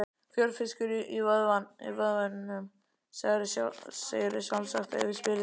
Fjörfiskur í vöðvunum, segðirðu sjálfsagt ef ég spyrði.